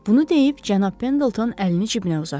Bunu deyib cənab Pendleton əlini cibinə uzatdı.